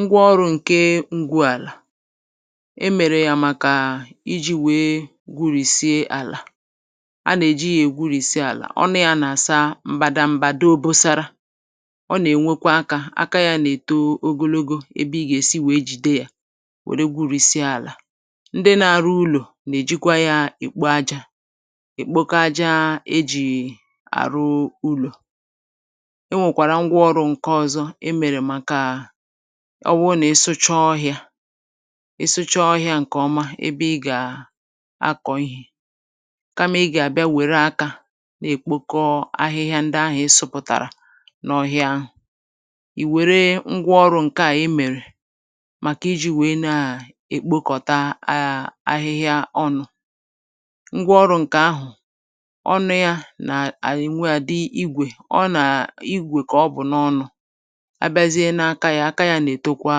ngwa ọrụ̄ ǹke ngwu àlà. e mèrè yà màkà ijī wèe gwurìsie àlà. a nà èji ya gwurìsie àlà. ọnụ ya nà àsa m̀bàdà m̀bàda obosara. ọ nà ènwekwa akā, aka ya nà èto ogologo, ebe ị gà èsi we jìde yā wère gwurìsie àlà. ndị na arụ ulò nà èjikwa ya nà èkpo ajā, èkpokọ aja e jì àrụ ulò. ẹ nwẹ̀kwàrà ngwa ọrụ e mèrè ǹkẹ ọzọ, màkà nà ọ wụ nà ịsụcha ọhịā, ịsụcha ọhịā ǹkè ọma ebe ị gà akọ̀ ihē, kamà ị gà àbịa wère akā nà èkpokọ ahịhịa ndị ahụ̄ ị sụpụ̀tàrà n’ọhịa ahụ̀, ì wère ngwa ọrụ̄ ǹkẹ à e mèrè màkà ijī wèe nà èkpokọ̀ta ahịhịa ọnụ̄. ngwa ọrụ̄ ǹkè ahụ̀, ọnụ̄ y anà ènwe àdị igwè. igwè kà ọ bụ̀ n’ọnụ̄, abịazie na aka ya, aka y anà ètokwa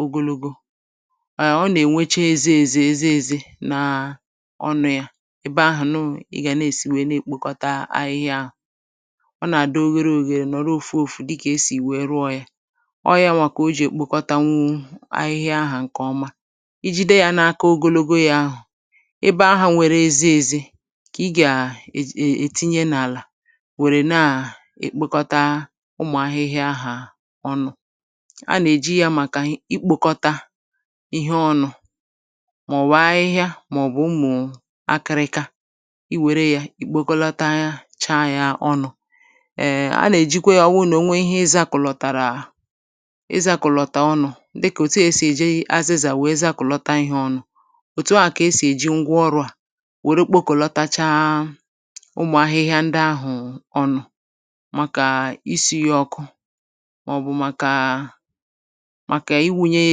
ogonogo, ẹ ọ nà ènwecha eze eze eze eze nà ọnụ̄ ya, ebe ahụ̀ nụ̀ ị gà èsi nà èkpokọta ahịhịa ahụ̀. ọ nà àdị ohere ohere, nọ̀rọ ofu ofu dịkà e sì wẹ rụọ ya. ọ ya kà o jì èkpokọtanwu ahịhịa ahụ̀ ǹkè ọma. I jide ya n’aka ogologo yā, ebe ahụ̄ nwẹrẹ eze eze, kà ị gà ètinye n’àlà, wẹ̀rẹ nà èkpokọta ụmụ̀ ahịhịa ahụ̀ ọnụ̄. a nà èji ya màkà ikpokọta ịhẹ ọnụ̄, mà ọ̀ bụ̀ ahịhịa, mà ọ̀ bụ̀ akịrịka. ị wère ya, ì kpokọtacha ya ọnụ. ẹ, a nà èjikwe yā, ọ wụ nà ị nwe ihe ị zakọ̀tàrà, ị zākọ̀lọ̀tà ọnụ̄, dịkà òtu à a nà ètinye azịzà wẹ zakọ̀lata ihẹ̄ ọnụ̄. òtu à kà e sì èji ngwa ọrụ à, wère kpokọ̀lọtọcha ụmụ̀ ahịhịa ndị ahụ̀ ọnụ̄, màkà isū ya ọkụ, mà ọ̀ bụ̀ màkà I wunye ya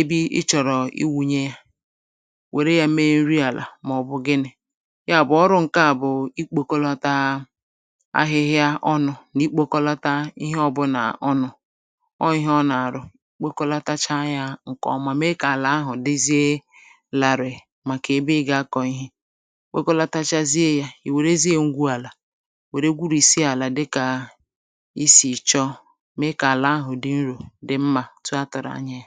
ebe ị chọ̀rọ̀ I wunye ya, wère ya me nri àlà mà ọ̀ bụ̀ gịnị. yà bụ̀ ọrụ ǹkẹ à bụ̀ I kpokọlata ahịhịa ọnụ̄ nà I kpokọlata ịhẹ ọwụnà ọnụ̄. ọ ịhẹ ọ nà àrụ, kpokọlọtacha ya ọnụ̄, mà me kà àlà ahụ̀ dịzịa larìì, màkà ebe ị gà akọ̀ ihe. ị kpokọlatachazie ya, ì wèrezie ǹgwu àlà we gwurisie àlà dịkà I sì chọ, me kà àlà ahụ̀ di nrō, dị mmā, etu a tụ̀rụ̀ anya yā.